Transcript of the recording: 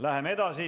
Läheme edasi.